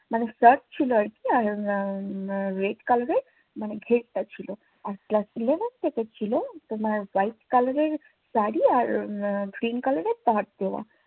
মানি shirt ছিলো আর কি উম red color মানি ঘেড়টা ছিলো, আর ক্লাস eleven থেকে ছিলো তোমার white color এর শাড়ী আর উম pink color এর পাড় দেওয়া